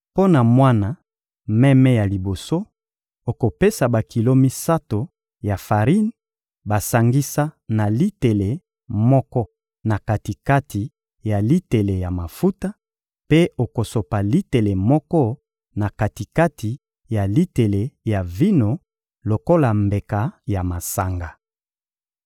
Mpo na mwana meme ya liboso, okopesa bakilo misato ya farine basangisa na litele moko na kati-kati ya litele ya mafuta, mpe okosopa litele moko na kati-kati ya litele ya vino lokola mbeka ya masanga.